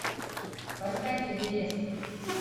поставь эверест